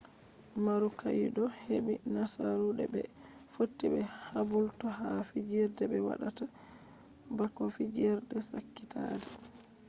marukaido heɓi nasaru de ɓe fotti be kabulto ha fiijerde ɓe waɗata bako fijerde sakitaade